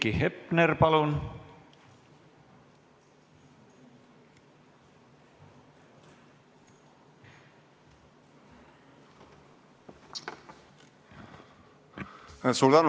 Heiki Hepner, palun!